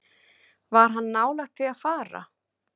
Var hann nálægt því að fara?